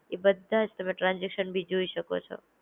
એ બધાંજ તમે ટ્રાન્સઝેકશન બી તમે જોઈ શકો છો.